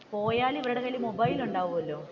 പോയാൽ ഇവരുടെ കയ്യിൽ മൊബൈൽ ഉണ്ടാകുമല്ലോ.